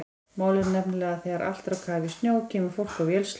Málið er nefnilega að þegar allt er á kafi í snjó kemur fólk á vélsleðum.